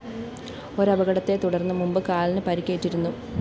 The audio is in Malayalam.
ഒരപകടത്തെതുടര്‍ന്ന് മുമ്പ് കാലിന് പരിക്കേറ്റിരുന്നു